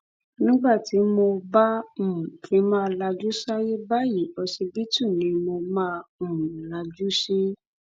nígbà tí mo bá um fi máa lajú sáyé báyìí ọsibítù ni mo máa um ń lajú sí